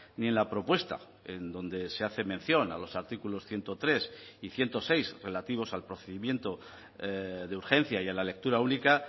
ni en la propuesta en donde se hace mención a los artículos ciento tres y ciento seis relativos al procedimiento de urgencia y a la lectura única